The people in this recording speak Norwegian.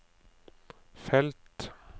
felt